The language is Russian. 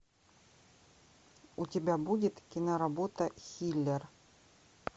у тебя будет киноработа хиллер